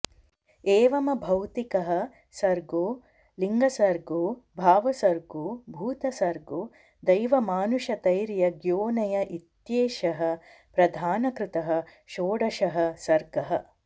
एवमभौतिकः सर्गो लिंगसर्गो भावसर्गो भूतसर्गो दैवमानुषतैर्यग्योनय इत्येषः प्रधानकृतः षोडशः सर्गः